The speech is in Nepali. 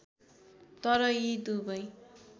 तर यी दुबै